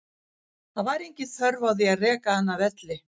Það var engin þörf á því að reka hann af velli.